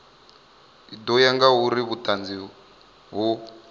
ḓo ya ngauri vhuṱanzi ho